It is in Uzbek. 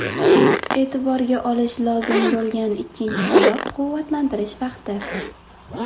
E’tiborga olish lozim bo‘lgan ikkinchi sabab quvvatlantirish vaqti.